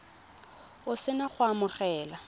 o se na go amogela